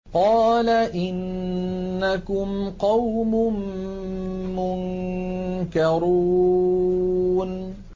قَالَ إِنَّكُمْ قَوْمٌ مُّنكَرُونَ